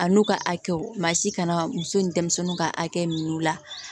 A n'u ka hakɛw maa si kana muso ni denmisɛnninw ka hakɛ min la